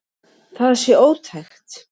Það sé ótækt.